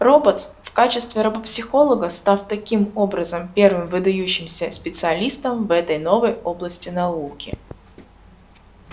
роботс в качестве робопсихолога став таким образом первым выдающимся специалистом в этой новой области науки